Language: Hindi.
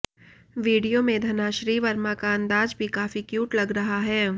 वीडियो में धनाश्री वर्मा का अंदाज भी काफी क्यूट लग रहा है